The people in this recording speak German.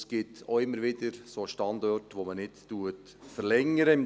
Es gibt immer wieder Standorte, die man nicht verlängert.